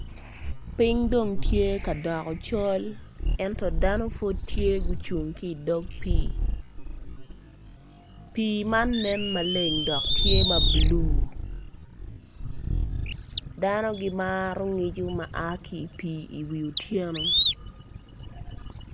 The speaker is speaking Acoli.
Ping dong tye ka doko col ento dano pud tye gucung ki idog pii pii man nen maleng dok tye ma bulu dano gimro ngico ma a ki i wi pii otyeno